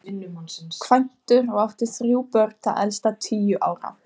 Kvæntur og átti þrjú börn, það elsta tíu ára.